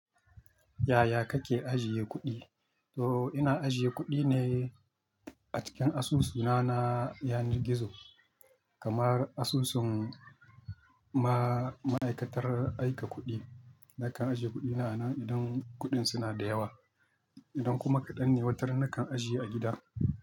Yaya kake ajiye kuɗi? To ina ajiye kuɗi ne a cikin asusuna na, yanar gizo. Kamar asusun ma-ma'aikatar aika kuɗi. Nakan ajiye kuɗina a nan idan kuɗin suna da yawa. Idan kuma kaɗan ne, watar nakan ajiye a gida.